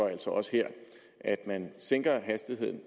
altså også her at man sænker hastigheden